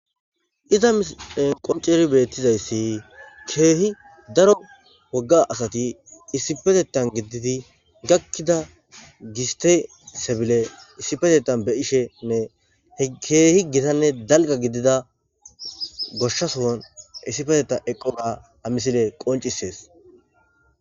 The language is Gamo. Iza qonceri beettizayssi keehi daro wogga asati issipetetan gididi gakkida giste sebile issipetetan be ishenne keehi gitanne dalga gidida goshshasoon issifeteta eqqona a misile qoncisees.